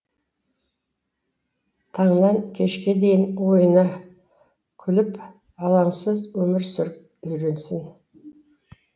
таңнан кешке дейін ойна күліп алаңсыз өмір сүріп үйренсін